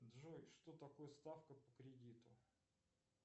джой что такое ставка по кредиту